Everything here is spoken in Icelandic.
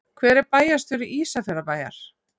Hver er bæjarstjóri Ísafjarðarbæjar?